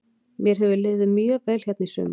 Mér hefur liðið mjög vel hérna í sumar.